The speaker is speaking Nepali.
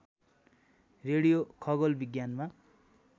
रेडियो खगोल विज्ञानमा